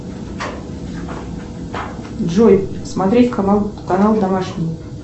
джой смотреть канал канал домашний